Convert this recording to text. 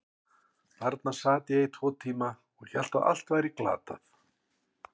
Þarna sat ég í tvo tíma og hélt að allt væri glatað.